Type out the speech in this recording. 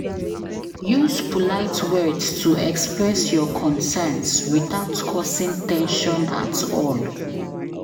Use polite words to express your concerns without causing ten sion at all.